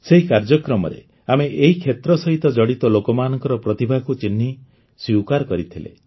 ସେହି କାର୍ଯ୍ୟକ୍ରମରେ ଆମେ ଏହି କ୍ଷେତ୍ର ସହ ଜଡ଼ିତ ଲୋକମାନଙ୍କର ପ୍ରତିଭାକୁ ଚିହ୍ନି ସ୍ୱୀକାର କରିଥିଲେ